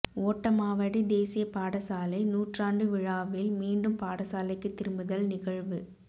ஓட்டமாவடி தேசிய பாடசாலை நூற்றாண்டு விழாவில் மீண்டும் பாடசாலைக்கு திரும்புதல் நிகழ்வு